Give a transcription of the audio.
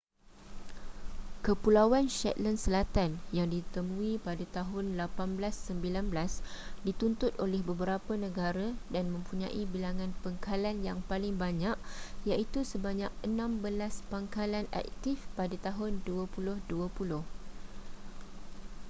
kepulauan shetland selatan yang ditemui pada tahun 1819 dituntut oleh beberapa negara dan mempunyai bilangan pangkalan yang paling banyak iaitu sebanyak enam belas pangkalan aktif pada tahun 2020